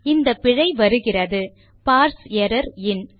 இந்த பிழை வருகிறது பார்ஸ் எர்ரர் இன்